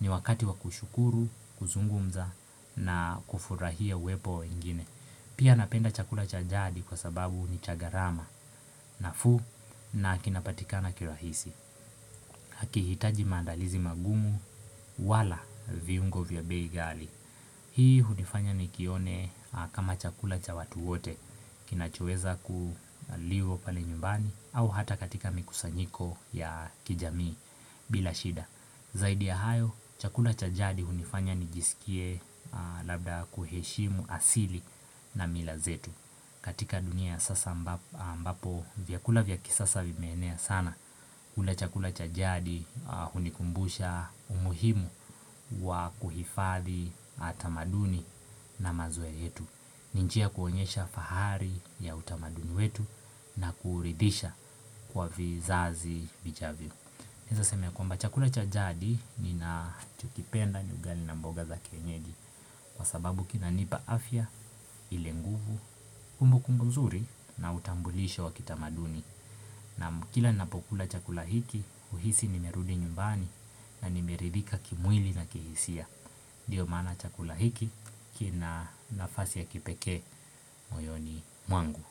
Ni wakati wa kushukuru kuzungumza na kufurahia uwepo wa wengine Pia napenda chakula cha jadi kwa sababu ni chagharama nafuu na kinapatika na kirahisi Hakihitaji mandalizi magumu wala viungo vya bei ghali Hii hunifanya nikione kama chakula cha watu wote kinachoweza kuliwo pale nyumbani au hata katika mikusanyiko ya kijamii bila shida Zaidi ya hayo chakula cha jadi hunifanya nijisikie labda kuheshimu asili na milazetu katika dunia ya sasa ambapo vya kula vya kisasa vimeenea sana kula chakula chajadi hunikumbusha umuhimu wa kuhifadhi atamaduni na mazoea yetu ninjia ya kuonyesha fahari ya utamaduni wetu na kuuridhisha kwa vizazi vijavyo Naeza sema ya kwa mba chakula chajadi nina chokipenda ni ugali na mboga za kienyeji Kwa sababu kina nipa afya, ilenguvu, kumbu kumbuzuri na utambulisho wa kitamaduni Nam kila ninapokula chakula hiki, uhisi nimerudi nyumbani na nimeridhika kimwili na kihisia Ndio maana chakula hiki kina nafasi ya kipekee moyoni mwangu.